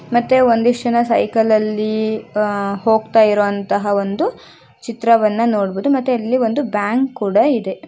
ಮತ್ತೆ ಒಂದಿಷ್ಟು ಜನ ಸೈಕಲ್ ಅಲ್ಲಿ ಹೋಗ್ತಾ ಇರುವಂತಹ ಒಂದು ಚಿತ್ರವನ್ನು ನೋಡ್ಬಿಟ್ಟು ಮತ್ತೆ ಅಲ್ಲಿ ಒಂದು ಬ್ಯಾಂಕ್ ಕೂಡ ಇದೆ.